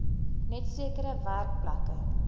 net sekere werkplekke